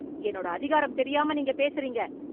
என்னோட அதிகாரம் தெரியாம நீங்க பேசுறீங்க...